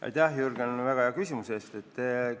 Aitäh, Jürgen, väga hea küsimuse eest!